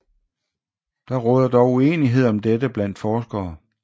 Der råder dog uenighed om dette blandt forskere